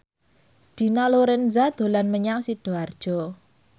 Dina Lorenza dolan menyang Sidoarjo